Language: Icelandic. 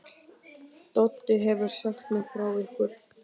Doddi hefur sagt mér frá ykkur.